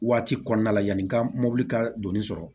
Waati kɔnɔna la yanni n ka mobili ka donni sɔrɔ